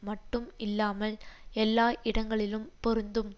மட்டும் இல்லாமல் எல்லா இடங்களிலும் பொருந்தும்